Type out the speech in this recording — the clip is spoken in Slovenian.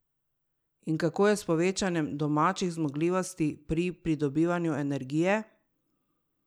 In kako je s povečanjem domačih zmogljivosti pri pridobivanju energije?